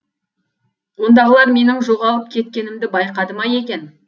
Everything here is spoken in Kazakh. ондағылар менің жоғалып кеткенімді байқады ма екен